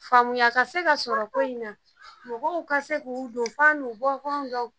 Faamuya ka se ka sɔrɔ ko in na ,mɔgɔw ka se k'u donfan n'u bɔ can dɔn .